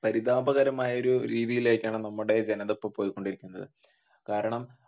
പരിതാപകരമായ രീതിയിലേക്കാണ് നമ്മുടെ ജനത ഇപ്പൊ പോയിക്കൊണ്ടിരിക്കുന്നത് കാരണം.